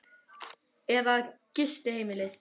Ívar Ingimarsson: Eða gistiheimilið?